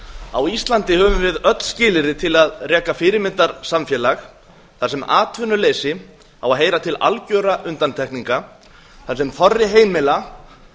á íslandi höfum við öll skilyrði til að reka fyrirmyndar samfélag þar sem atvinnuleysi á að heyra til algjörra undantekninga þar sem þorri heimila